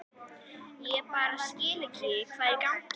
Ég bara skil ekki hvað er í gangi.